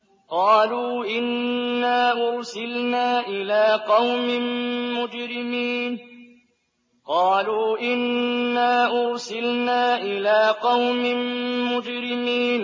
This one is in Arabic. قَالُوا إِنَّا أُرْسِلْنَا إِلَىٰ قَوْمٍ مُّجْرِمِينَ